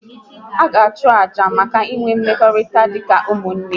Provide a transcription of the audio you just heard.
Ha ga achu ọchụ maka inwe mmekọrịta dị ka ụmụnne